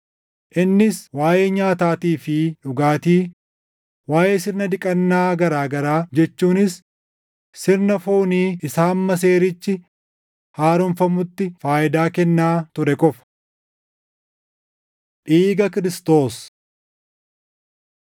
Innis waaʼee nyaataatii fi dhugaatii, waaʼee sirna dhiqannaa garaa garaa jechuunis sirna foonii isa hamma seerichi haaromfamutti faayidaa kennaa ture qofa. Dhiiga Kiristoos